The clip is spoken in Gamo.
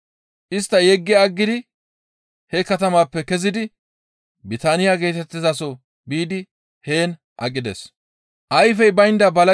Istta yeggi aggidi he katamaappe kezidi Bitaaniya geetettizaso biidi heen aqides.